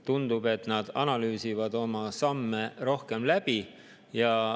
Tundub, et nad analüüsivad oma samme rohkem läbi.